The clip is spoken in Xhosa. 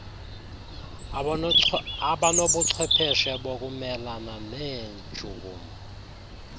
anobuchwepheshe bokumelana neentshukumo